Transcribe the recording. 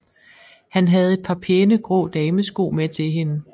Han havde et par pæne grå damesko med til hende